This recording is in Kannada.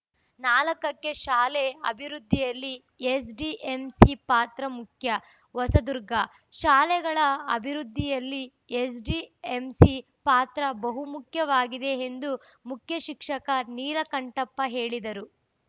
ನಾಲ್ಕಕ್ಕೆಶಾಲೆ ಅಭಿವೃದ್ಧಿಯಲ್ಲಿ ಎಸ್‌ಡಿಎಂಸಿ ಪಾತ್ರ ಮುಖ್ಯ ಹೊಸದುರ್ಗ ಶಾಲೆಗಳ ಅಭಿವೃದ್ಧಿಯಲ್ಲಿ ಎಸ್‌ಡಿಎಂಸಿ ಪಾತ್ರ ಬಹುಮುಖ್ಯವಾಗಿದೆ ಎಂದು ಮುಖ್ಯಶಿಕ್ಷಕ ನೀಲಕಂಠಪ್ಪ ಹೇಳಿದರು